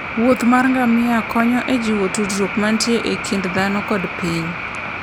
wuoth mar ngamia konyo e jiwo tudruok mantie e kind dhano kod piny.